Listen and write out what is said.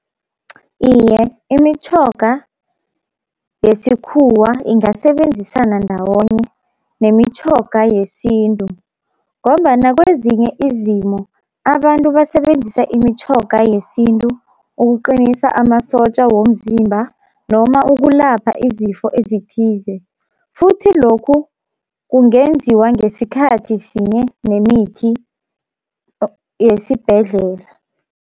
Iye imitjhoga yesikhuwa ingasebenzisana ndawonye nemitjhoga yesintu, ngombana kwezinye izimo abantu basebenzisa imitjhoga yesintu ukuqinisa amasotja womzimba noma ukulapha izifo ezithize futhi lokhu kungenziwa ngesikhathi sinye nemithi yesibhedlela.